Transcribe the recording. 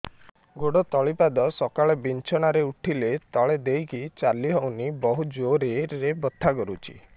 ଗୋଡ ତଳି ପାଦ ସକାଳେ ବିଛଣା ରୁ ଉଠିଲେ ତଳେ ଦେଇକି ଚାଲିହଉନି ବହୁତ ଜୋର ରେ ବଥା କରୁଛି